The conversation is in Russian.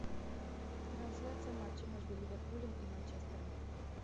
трансляция матча между ливерпулем и манчестером